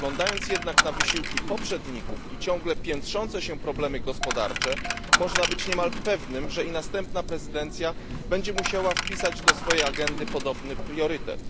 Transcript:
Spoglądając jednak na wysiłki poprzedników i ciągle piętrzące się problemy gospodarcze można być niemalże pewnym, że następna prezydencja będzie musiała wpisać do swojej agendy podobny priorytet.